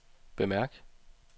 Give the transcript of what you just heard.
bemærk